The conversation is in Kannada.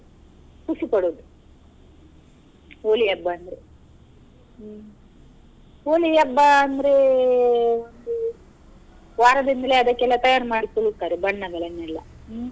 ಖುಷಿ ಪಡುದು Holi ಹಬ್ಬ ಅಂದ್ರೆ ಹ್ಮ್ Holi ಹಬ್ಬ ಅಂದ್ರೇ ಒಂದು ವಾರದಿಂದ್ಲೇ ಅದಕ್ಕೆ ತಯಾರ್ ಮಾಡ್ತಿರ್ತಾರೆ ಬಣ್ಣಗಳನ್ನೆಲ್ಲಾ ಹ್ಮ್.